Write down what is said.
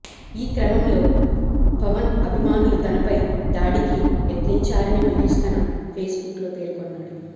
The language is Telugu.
ఈ క్రమంలో పవన్ అభిమానులు తనపై దాడికి యత్నించారిని మహేశ్ తన ఫేస్ బుక్ లో పేర్కొన్నాడు